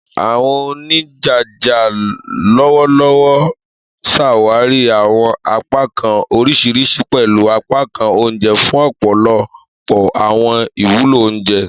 Àwọn onijaja lọwọlọwọ ṣawari àwọn apakan oriṣiriṣi, pẹlu apakan oúnjẹ, fun ọpọlọpọ àwọn iwulo onjẹ.